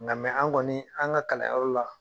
Nga an kɔni , an ka kalanyɔrɔ la